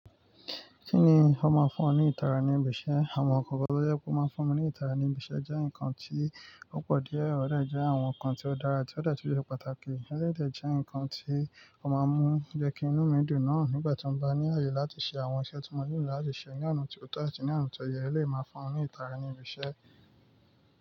Kíni ó máa ń fún ọ ní ìtara ní ibi iṣẹ́? Àwọn ǹkan gbogbo tó yẹ kó máa ń fún ọ ní ìtara ní ibi iṣẹ́ jẹ́ ǹkan tí ó pọ̀ díẹ̀, ó dà jẹ́ àwọn ǹkan tí ó dára tí ó dà tí ó jẹ́ pàtàkì, ó sì jẹ́ ǹkan tí ó máa ń mú jẹ́ kí inú mi dùn náà nígbà tí mo bá ní ààyè láti ṣe àwọn iṣẹ́ tí mo ní láti ṣe ní ọ̀nà tí kò tọ́, tì ní ọ̀nà tí ó yẹ, lè máa fún ọ ní ìtara ní ibi iṣẹ́.